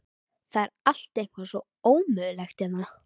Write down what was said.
Það er allt eitthvað svo ómögulegt hérna.